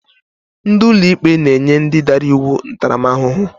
Ndị ụlọikpe na-enye ndị dara iwu ntaramahụhụ.